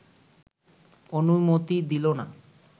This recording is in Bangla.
অনুমতি দিল না